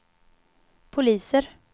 poliser